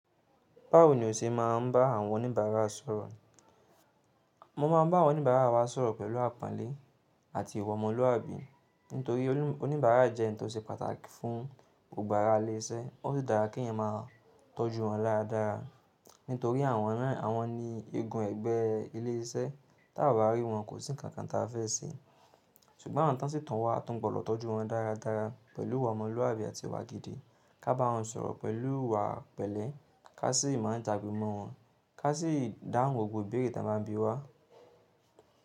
Báwo ni o ṣe máa ń bá àwọn oníbàárà sọ̀rọ̀? Mo máa ń bá àwọn oníbàárà wa sọ̀rọ̀ pẹ̀lú àponle àti ìwà ọmọlúàbí. Nítorí oni, oníbàárà jẹ́ ǹkan tó ṣe pàtàkì fún gbogbo araa ilé iṣẹ́, ó sì dára kí ẹeyan máa tọ́jú wọn dára dára. Nítorí àwọn ná, àwọn ni ni eegun ẹgbẹ́ ilé iṣẹ́, tí a ò bá rí wọn kò sí ǹkankan táa fẹ́ ṣe. Ṣùgbọ́n àwọn tí wọ́n sì tọ́ wa, a tún gbọdọ̀ tọ́jú wọn dáradára pẹ̀lú ìwà ọmọlúàbí àti ìwà gidi. Ká bá wọn sọ̀rọ̀ pẹ̀lú ìwàa pẹ̀lẹ́, ká sì máa jagbe mo wọn, ká sì dáhùn gbogbo ìbéèrè tí wọ́n bá bíi wá.